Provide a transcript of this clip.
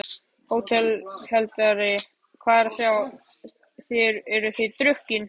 HÓTELHALDARI: Hvað er að sjá: þér eruð drukkin?